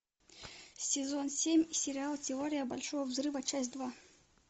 сезон семь сериал теория большого взрыва часть два